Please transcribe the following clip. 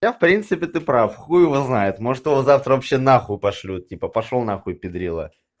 хотя в принципе ты прав хуй его знает може его завтра вообще на хуй пошлют типа пошёл на хуй педрила